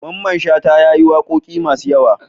Mamman shata yayi waƙoƙi masu yawa